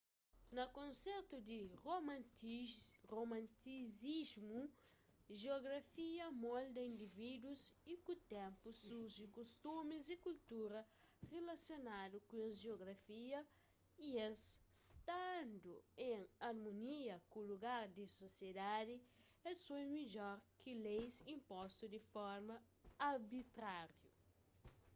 na kontestu di romantisismu jiografia molda indivídus y ku ténpu surji kustumis y kultura rilasionadu ku es jiografia y es standu en armonia ku lugar di sosiedadi es foi midjor ki leis inpostu di forma arbitrariu